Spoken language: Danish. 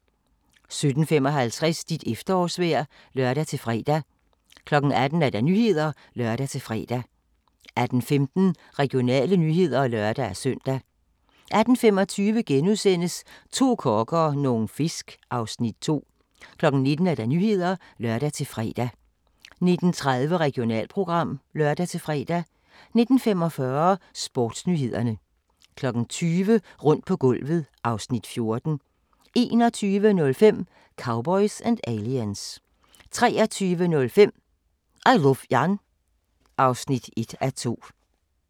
17:55: Dit efterårsvejr (lør-fre) 18:00: Nyhederne (lør-fre) 18:15: Regionale nyheder (lør-søn) 18:25: To kokke og nogle fisk (Afs. 2)* 19:00: Nyhederne (lør-fre) 19:30: Regionalprogram (lør-fre) 19:45: Sportsnyhederne 20:00: Rundt på gulvet (Afs. 14) 21:05: Cowboys & Aliens 23:05: I Luv Jan (1:2)